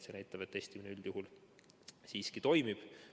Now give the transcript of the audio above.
See näitab, et testimine üldjuhul siiski toimib.